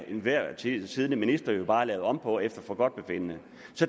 enhver tid siddende minister jo bare lave om på efter forgodtbefindende